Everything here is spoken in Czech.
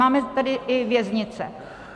Máme tady i věznice.